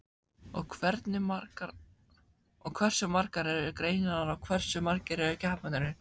Og hversu margar eru greinarnar og hversu margir eru keppendurnir?